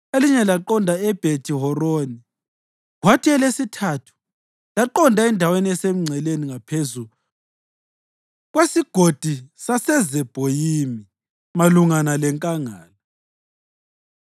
elinye laqonda eBhethi-Horoni, kwathi elesithathu laqonda endaweni esemngceleni ngaphezu kweSigodi saseZebhoyimi malungana lenkangala.